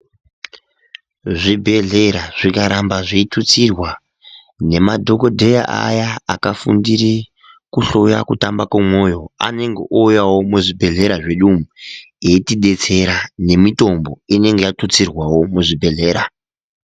Zvibhehleya zvikaramba zveitutsirwa ,nemadhokodheya aya akafundire kuhloya kutamba kwomoyo ,anenge ouya muzvibhehlera medu umwu eitidetsera ,nemitombo inenge yatutsirwawo muzvibhehlera.